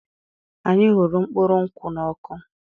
Anyị hụrụ mkpụrụ nkwụ́ n'ọkụ.